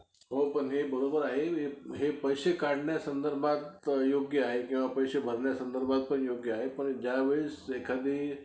मिळत त काही नसतंय जायला फक्त break मधीच जायचं अन काय खेळायचं ते खेळून यायचं.